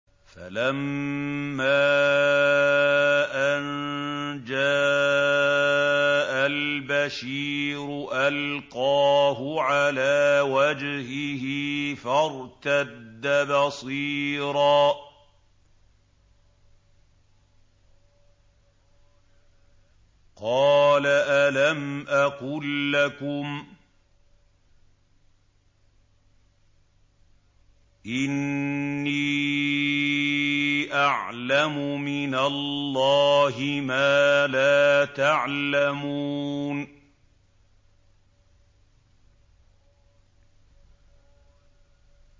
فَلَمَّا أَن جَاءَ الْبَشِيرُ أَلْقَاهُ عَلَىٰ وَجْهِهِ فَارْتَدَّ بَصِيرًا ۖ قَالَ أَلَمْ أَقُل لَّكُمْ إِنِّي أَعْلَمُ مِنَ اللَّهِ مَا لَا تَعْلَمُونَ